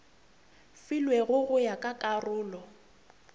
filwego go ya ka karolo